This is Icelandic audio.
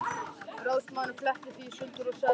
Ráðsmaðurinn fletti því í sundur og sagði síðan